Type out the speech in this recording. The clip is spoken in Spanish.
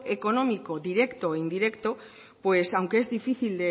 económico directo e indirecto aunque es difícil